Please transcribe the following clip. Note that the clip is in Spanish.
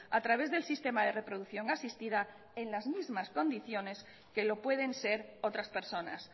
a través del sistema de reproducción asistida en las mismas condiciones que lo pueden ser otras personas